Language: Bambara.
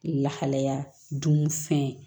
Lahalaya dun fɛn